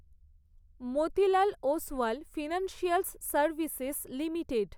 Motilal Oswal financials services limited